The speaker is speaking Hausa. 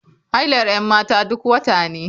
Hailar 'yan mata duk wata ne.